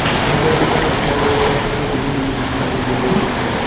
मुझे इस फोटो में एक सीढ़ी भी दिखाई दे रही है।